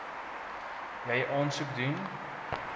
jy aansoek doen